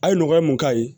A ye nɔgɔya mun k'a ye